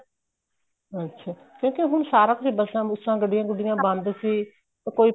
ਅੱਛਾ ਕਿਉਂਕਿ ਹੁਣ ਸਾਰਾ ਕੁੱਛ ਬੱਸਾਂ ਬੁਸਾਂ ਗੱਡੀਆਂ ਗੁਡੀਆਂ ਬੰਦ ਸੀ ਕੋਈ